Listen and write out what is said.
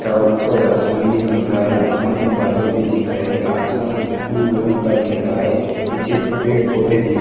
चाव ऊपर आसमान भी दिख रहा है आसमान में बादल भी दिख रहा है आसमान ब्लू रंग का दिख रहा है पीछे पेड़ पौधे भी--